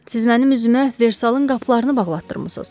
Siz mənim üzümə Versalın qapılarını bağlatdırmısınız.